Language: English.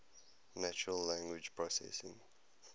natural language processing